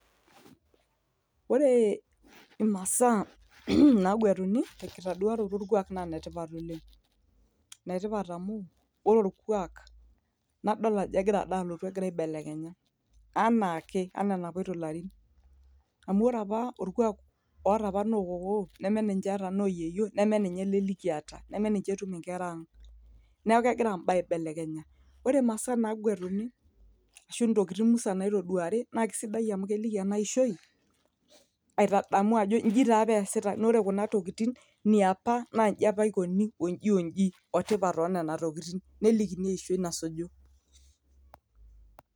Ore imasaa naguatuni tenkitaduaroto orkuak naa netipat oleng'. Inetipat amu, ore orkuak nadol ajo egira dalotu egira aibelekenya. Anaake enaa enapoito larin. Amu ore apa orkuak oota apa nokokoo, neme ninche eeta noyieyio, nemeninche ele likiata, neme ninche etum inkera ang'. Neeku kegira imbaa aibelekenya. Ore masaa naguatuni, ashu ntokiting musan naitoduari, na kisidai amu keliki enaishoi, aitadamu ajo iji taapa easitai, na ore kuna tokiting, niapa na iji apa ikoni, oji oji, otipat onena tokiting. Nelikini eishoi nasuju.